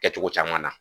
Kɛcogo caman na